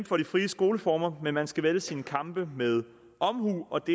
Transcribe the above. for de frie skoleformer men man skal vælge sine kampe med omhu og det